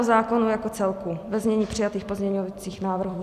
O zákonu jako celku, ve znění přijatých pozměňovacích návrhů.